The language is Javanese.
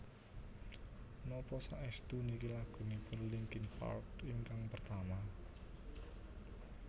Napa saestu niki lagunipun Linkin Park ingkang pertama?